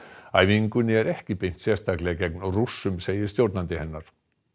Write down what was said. æfingunni er ekki beint sérstaklega gegn Rússum segir stjórnandi hennar